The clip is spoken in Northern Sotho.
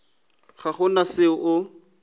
ga go na se o